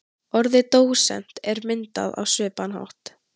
Orðið dósent er myndað á svipaðan hátt.